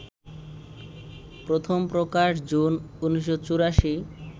প্রথম প্রকাশ জুন ১৯৮৪